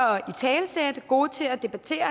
er gode til at debattere